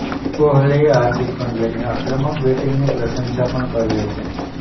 કોહલીએ હાર્દિક પંડ્યાની આક્રમક બેટિંગની પ્રશંસા પણ કરી હતી